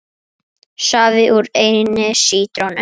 Safi úr einni sítrónu